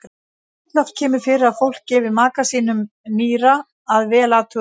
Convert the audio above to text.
Alloft kemur fyrir að fólk gefi maka sínum nýra að vel athuguðu máli.